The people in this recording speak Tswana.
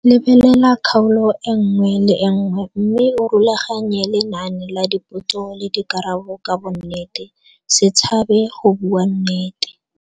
Lebelela kgaolo e nngwe le e nngwe mme o rulaganye lenane la dipotso le dikarabo ka bonnete, se tshabe go bua nnete.